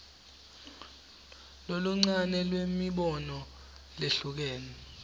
loluncane lwemibono lehlukene